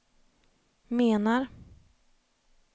menar